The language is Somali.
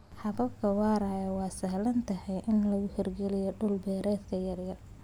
Hababka waaraya waa sahlan tahay in laga hirgeliyo dhul-beereedyo yaryar.